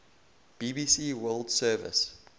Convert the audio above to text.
bbc world service